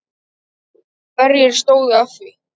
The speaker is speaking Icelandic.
Hverjir stóðu að því?